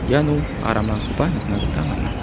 iano aramrangkoba nikna gita man·a.